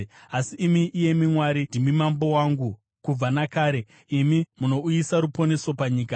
Asi imi, iyemi Mwari, ndimi mambo wangu kubva nakare; imi munouyisa ruponeso panyika.